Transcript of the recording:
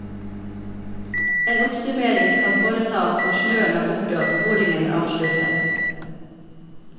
En oppsummering skal foretas når snøen er borte og sporingen avsluttet.